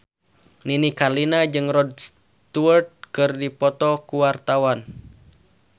Nini Carlina jeung Rod Stewart keur dipoto ku wartawan